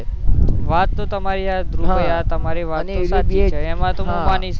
વાત તો તમારી ધ્રુવ ભાઈ હા ભાઈ વાત તો તમારી સાચી છે એમાં હું માની શકું